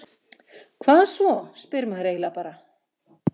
Hvað svo, spyr maður eiginlega bara?